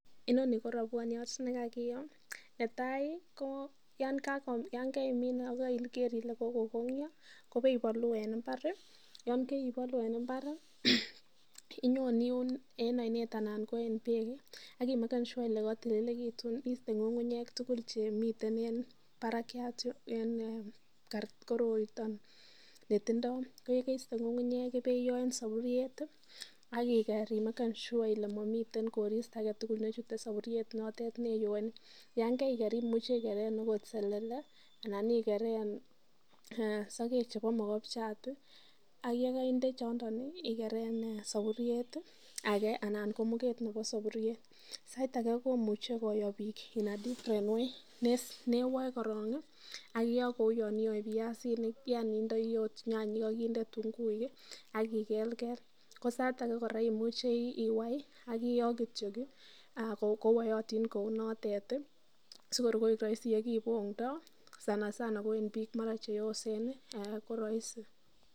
Inoni ko robwoniot ne kakiyoo netai ko yan keimin agokaiger ile kogokonyo, ko ibei bolu en mbar, inyon iun en oinet anan ko en beek, ak imeken sure ile kotililekitun, iste ng'ung'unyek tugul chemiten barakyat en korotion chetindo. Ko ye keiste ng'ung'unyek ibe iyoo en soburiet ak iger imeken sure ile momiten koristo age tugul nechute soburiet notet ne iyooen. Yan kaiger imuche ikeren agot selele anan igeren sogek chebo mogobjat ak ye koinde chondon igeren soburiet age anan ko muget nebo soboriet. Sait age komuche koyo biik in a different way ne woe korong ak iyo kouyoniyoe biasinik yani indoi ot nyanyik ak inde ketunguuik ak ikelkel, ko sait age kora koimuche iwai ak iyoo kityo kowayotin kou notet sikor koik roisi ole kibong'ndosansana ko en biik mara cheyosen ko roisi..